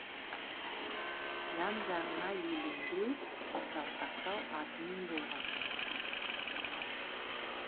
жан жағына елеңдеу жалтақтау атымен болған жоқ